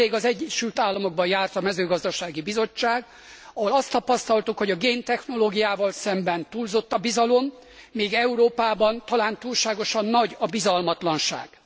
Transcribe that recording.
Nemrég az Egyesül Államokban járt a Mezőgazdasági Bizottság, ahol azt tapasztaltuk, hogy a géntechnológiával szemben túlzott a bizalom, míg Európában talán túlságosan nagy a bizalmatlanság.